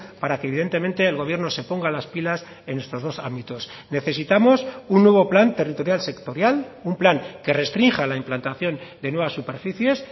para que evidentemente el gobierno se ponga las pilas en estos dos ámbitos necesitamos un nuevo plan territorial sectorial un plan que restrinja la implantación de nuevas superficies